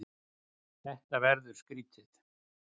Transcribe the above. Þetta verður skrýtið.